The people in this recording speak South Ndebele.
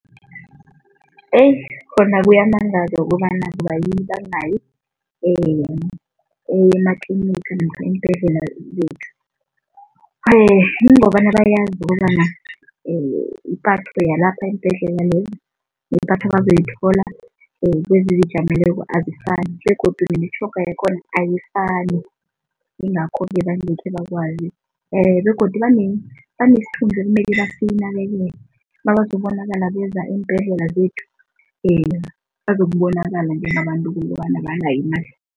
Heyi khona kuyamangaza ukobana kubayini bangayi ematliniga namkha eembhedlela zethu. Kungobana bayazi ukobana ipatho yalapha eembhedlela ipatho abazoyithola kwezizijameleko azifani begodu nemitjhoga yakhona ayifani, yingakho-ke bangekhe bakwazi begodu banesithunzi ekumele basinakekele, Nabazokubonakala beza eembhedlela zethu, bazokubonakala njengabantu ukobana abanayo imali.